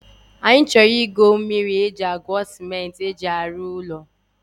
Anyị chọrọ ịgo mmiri e ji agwo cement e ji arụ ụlọ